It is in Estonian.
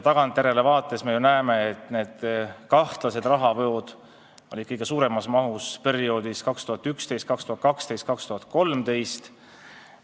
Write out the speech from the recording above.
Tagantjärele vaadates me ju näeme, et kahtlased rahavood olid kõige suurema mahuga 2011, 2012 ja 2013.